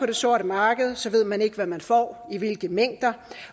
det sorte marked ved man ikke hvad man får i hvilke mængder